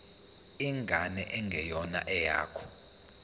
ingane engeyona eyakho